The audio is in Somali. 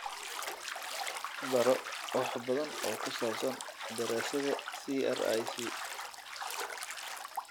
Baro wax badan oo ku saabsan Daraasadda CRIC.